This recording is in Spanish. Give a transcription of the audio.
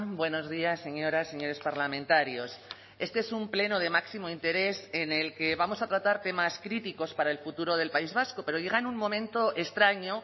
buenos días señoras señores parlamentarios este es un pleno de máximo interés en el que vamos a tratar temas críticos para el futuro del país vasco pero llega en un momento extraño